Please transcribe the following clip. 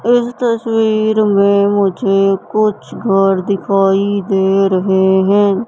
इस तस्वीर में मुझे कुछ घर दिखाई दे रहे हैं।